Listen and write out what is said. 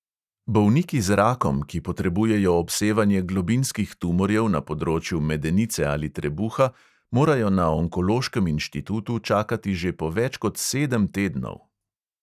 Bolniki z rakom, ki potrebujejo obsevanje globinskih tumorjev na področju medenice ali trebuha, morajo na onkološkem inštitutu čakati že po več kot sedem tednov.